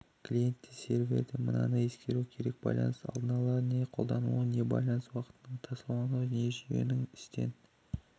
клиент те сервер де мынаны ескеру керек байланыс алдын-ала не қолданылуымен не байланыс уақытының таусылуынан не жүйенің істен